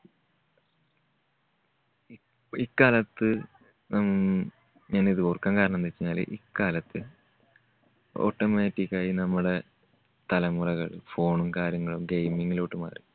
ഇക്കാലത്ത് ഞാൻ ഞാനിത് ഓർക്കാൻ കാരണം എന്താന്ന് വെച്ചുകഴിഞ്ഞാല് ഇക്കാലത്ത് automatic ആയി നമ്മുടെ തലമുറകൾ phone ഉം കാര്യങ്ങളും gaming ലോട്ട് മാറി.